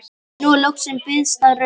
Núna loksins bifaðist röddin